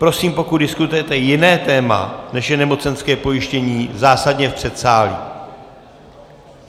Prosím, pokud diskutujete jiné téma, než je nemocenské pojištění, zásadně v předsálí!